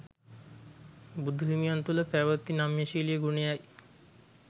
බුදු හිමියන් තුළ පැවති නම්‍යශීලී ගුණයයි.